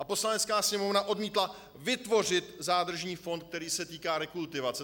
A Poslanecká sněmovna odmítla vytvořit zádržní fond, který se týká rekultivace.